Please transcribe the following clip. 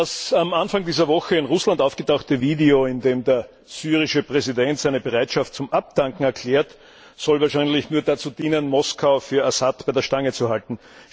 Das am Anfang dieser Woche in Russland aufgetauchte Video, in dem der syrische Präsident seine Bereitschaft zum Abdanken erklärt, soll wahrscheinlich nur dazu dienen, Moskau für Assad bei der Stange zu halten.